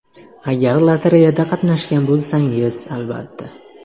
Agar lotereyada qatnashgan bo‘lsangiz, albatta.